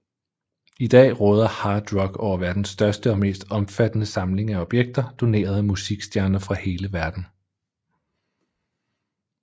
I dag råder Hard Rock over verdens største og mest omfattende samling af objekter doneret af musikstjerner fra hele verden